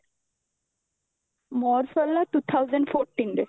ମୋର ସରିଲା two thousand fourteen ରେ